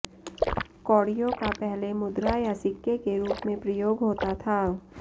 कौड़ियों का पहले मुद्रा या सिक्के के रूप में प्रयोग होता था